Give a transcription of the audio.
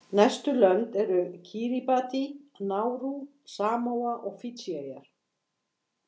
Næstu lönd eru Kíribatí, Nárú, Samóa og Fídjieyjar.